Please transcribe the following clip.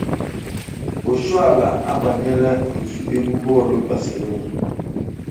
Oshoala abanyela otu egwu bọọlụ Barcelona.